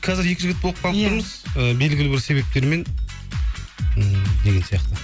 қазір екі жігіт болып қалып тұрмыз ы белгілі бір себептермен ммм деген сияқты